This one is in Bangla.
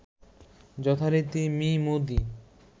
যথারীতি মি মোদী